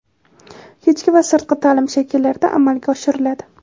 kechki va sirtqi taʼlim shakllarida amalga oshiriladi.